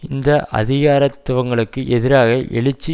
இந்த அதிகாரத்துவங்களுக்கு எதிராக எழுச்சி